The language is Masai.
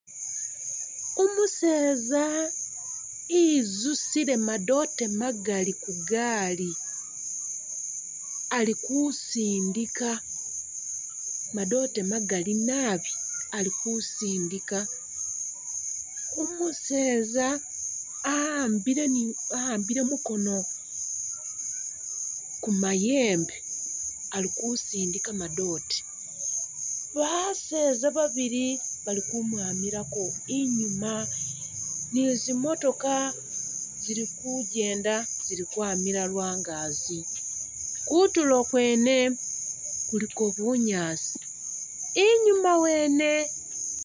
Umuseeza izusile madoote magali ku gaali ali kusindika, madoote magali nabi ali kusindika. Umuseeza a'ambile, a'ambile mukono ku mayembe ali kusindika madoote. Baseeza babili bali kumwamilako inyuuma niyo zi motoka zili kugenda zili kwamila lwangaazi. Kutulo kwene kuliko bunyaasi, inyuuma wene.